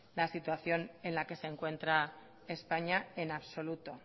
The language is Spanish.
la situación en la que se encuentra españa en absoluto